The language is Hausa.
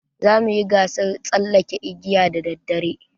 Za mu yi gasar tsallaken igiya da daddare.